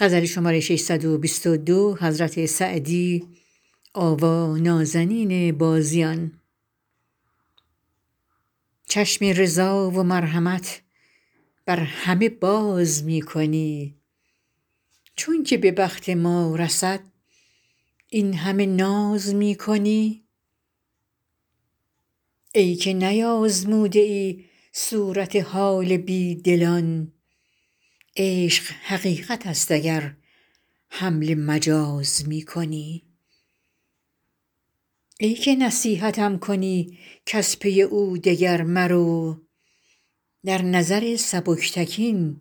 چشم رضا و مرحمت بر همه باز می کنی چون که به بخت ما رسد این همه ناز می کنی ای که نیآزموده ای صورت حال بی دلان عشق حقیقت است اگر حمل مجاز می کنی ای که نصیحتم کنی کز پی او دگر مرو در نظر سبکتکین